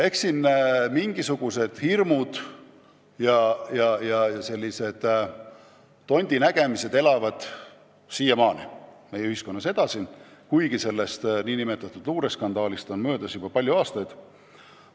Eks mingisugused hirmud ja tontide nägemised elavad siiamaani meie ühiskonnas edasi, kuigi sellest luureskandaalist on möödas juba palju aastaid.